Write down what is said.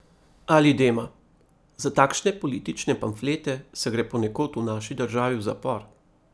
Ali Dema: 'Za takšne politične pamflete se gre ponekod v naši državi v zapor.